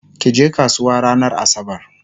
kije kasuwa ranar asabar!